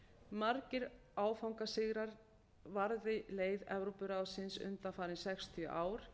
margir áfangasigrar varði leið evrópuráðsins undanfarin sextíu ár